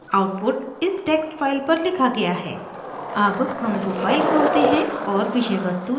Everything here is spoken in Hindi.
आउटपुट इस टेक्स्ट फाइल पर लिखा गया है अब हम वो फाइल खोलते हैं और विषय वस्तु जांचते हैं